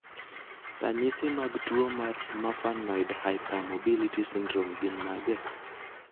Ranyisi mag tuo mar Marfanoid hypermobility syndrome gin mage?